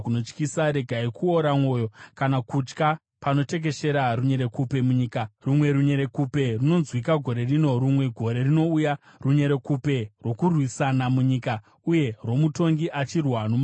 Regai kuora mwoyo kana kutya panotekeshera, runyerekupe munyika; rumwe runyerekupe runonzwika gore rino, rumwe gore rinouya, runyerekupe rwokurwisana munyika uye rwomutongi achirwa nomumwe mutongi.